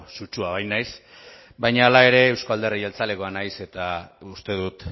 sutsua bainaiz baina hala ere euzko alderdi jeltzalekoa naiz eta uste dut